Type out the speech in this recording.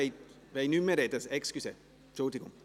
Wünschen die Motionäre das Wort nicht mehr?